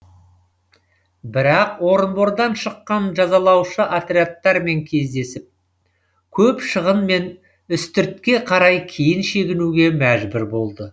бірақ орынбордан шыққан жазалаушы отрядтармен кездесіп көп шығынмен үстіртке қарай кейін шегінуге мәжбүр болды